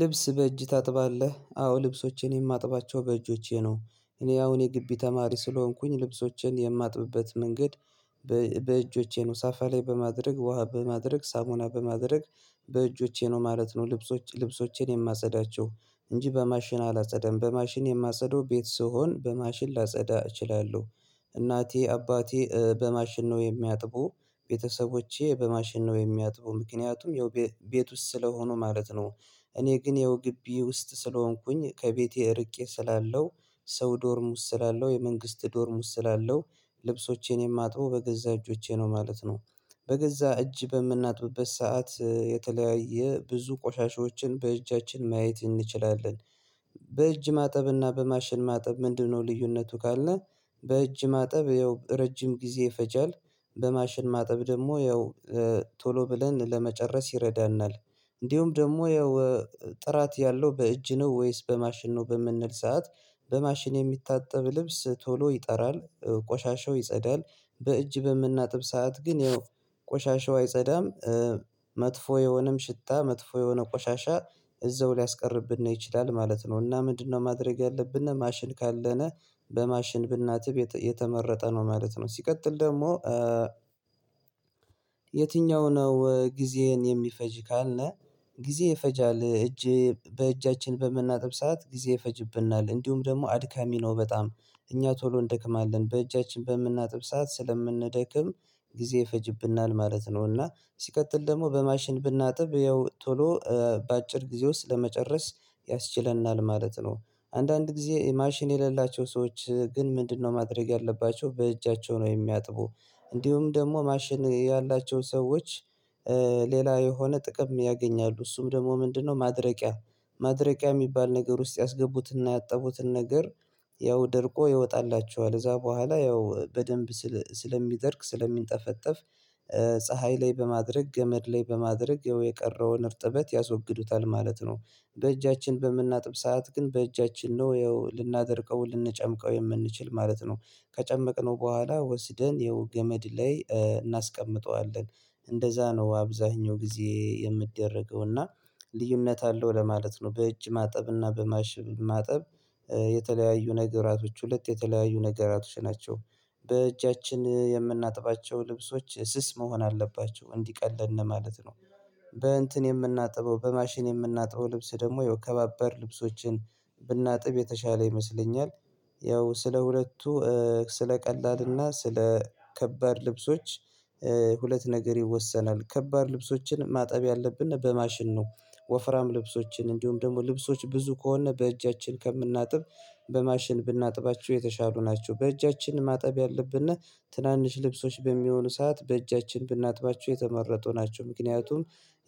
ልብስ በእጅ ታጥባለህ አዎ ልብሶቼን የማጥባቸው በእጆቼ ነው። እኔ አሁን የግቢ ተማሪ ስለሆንኩኝ ልብሶችን የማጥብበት መንገድ። በእጆቼ ነው ሳፋ ላይ በማድረግ ውሃ በማድረግ ሳሙና በማድረግ በእጆቼ ነው ማለት ነው። ልብሶች ልብሶቼን የማጸዳቸው እንጂ በማሽን አላጸደም በማሽን የማጸደው ቤት ስሆን በማሽን ላጸዳ እችላለሁ። እናቴ አባቴ በማሽን ነው የሚያጥቡ ቤተሰቦቼ በማሽን ነው የሚያጥቡ። ምክንያቱም ያው ቤት ውስጥ ስለሆኑ ማለት ነው። እኔ ግን ያው ግቢ ውስጥ ስለሆንኩኝ ከቤቴ እርቄ ስላለው ሰው ዶርም ውስጥ ስላለው የመንግስት ዶርም ውስጥ ስላለው ልብሶቼን የማጥበው በገዛ እጆቼ ነው ማለት ነው። በገዛ እጅ በምናጥብበት ሰዓት የተለያየ ብዙ ቆሻሻዎችን በእጃችን ማየት እንችላለን። በእጅ ማጠብና በማሽን ማጠብ ምንድነው ልዩነቱ ካለነ? በእጅ ማጠብ ያው ረጅም ጊዜ ይፈጃል። በማሽን ማጠብ ደግሞ ያው ቶሎ ብለን ለመጨረስ ይረዳናል። እንዲሁም ደግሞ ያው ጥራት ያለው በእጅ ነው ወይስ በማሽን ነው በምንል ሰዓት? በማሽን የሚታጠብ ልብስ ቶሎ ይጠራል ቆሻሻው ይጸዳል። በእጅ በምናጥብ ሰዓት ግን ያው ቆሻሻው አይጸዳም። መጥፎ የሆነም ሽታ መጥፎ የሆነ ቆሻሻ እዛው ሊያስቀርብን ነው ይችላል ማለት ነው። እና ምንድነው ማድረግ ያለብን ማሽን ካለነ? በማሽን ብናጥብ የተመረጠ ነው ማለት ነው። ሲቀጥል ደግሞ የትኛው ነው ጊዜህን የሚፈጅ ካልነ? ጊዜ ይፈጃል እጅ በእጃችን በምናጥብ ሰዓት ጊዜ ይፈጅብናል እንዲሁም ደግሞ አድካሚ ነው በጣም እኛ ቶሎ እንደክማለን በእጃችን በምናጥብ ሰዓት ስለምንደክም ጊዜ ይፈጅብናል ማለት ነው። እና ሲቀጥል ደግሞ በማሽን ብናጥብ ያው ቶሎ በአጭር ጊዜ ውስጥ ለመጨረስ ያስችለናል ማለት ነው። አንዳንድ ጊዜ ማሽን የሌላቸው ሰዎች ግን ምንድነው ማድረግ ያለባቸው በእጃቸው ነው የሚያጥቡ። እንዲሁም ደግሞ ማሽን ያላቸው ሰዎች። ሌላ የሆነ ጥቅም ያገኛሉ እሱም ደግሞ ምንድነው ማድረቂያ? ማድረቂያ የሚባል ነገር ውስጥ ያስገቡትንና ያጠቡትን ነገር ያው ደርቆ ይወጣላቸዋል ከዚያ በኋላ ያው በደንብ ስለሚደርቅ ስለሚንጠፈጠፍ ፀሀይ ላይ በማድረግ ገመድ ላይ በማድረግ ያው የቀረውን እርጥበት ያስወግዱታል ማለት ነው። በእጃችን በምናጥብ ሰዓት ግን በእጃችን ነው ያው ልናደርቀው ልንጨምቀው የምንችል ማለት ነው። ከጨመቅነው በኋላ ወስደን ያው ገመድ ላይ እናስቀምጠዋለን። እንደዛ ነው አብዛኛው ጊዜ የሚደረገው እና ልዩነት አለው ለማለት ነው። በእጅ ማጠብ እና በማሽ ማጠብ የተለያዩ ነገራቶች ሁለት የተለያዩ ነገራቶች ናቸው። በእጃችን የምናጥባቸው ልብሶች ስስ መሆን አለባቸው እንዲቀለን ነው ማለት ነው። በእንትን የምናጥበው በማሽን የምናጥበው ልብስ ደግሞ ያው ከባባድ ልብሶችን ብናጥብ የተሻለ ይመስለኛል። ያው ስለ ሁለቱ ስለ ቀላልና ስለ ከባድ ልብሶች ሁለት ነገር ይወሰናል ከባድ ልብሶችን ማጠብ ያለብን በማሽን ነው። ወፍራም ልብሶችን እንዲሁም ደግሞ ልብሶች ብዙ ከሆነ በእጃችን ከምናጥብ በማሽን ብናጥባችሁው የተሻሉ ናቸው። በእጃችን ማጠብ ያለብነ። ትናንሽ ልብሶች በሚሆኑ ሰዓት በእጃችን ብናጥባቸው የተመረጡ ናቸው። ምክንያቱን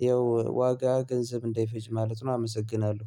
ያው ዋጋ ገንዘብ እንደይፈጅ ማለት ነው። አመሰግናለሁ